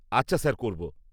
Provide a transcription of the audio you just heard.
-আচ্ছা স্যার, করব।